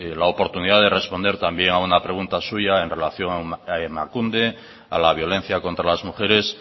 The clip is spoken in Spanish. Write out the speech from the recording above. la que tuve la oportunidad de responder también a una pregunta suya en relación a emakunde a la violencia contra las mujeres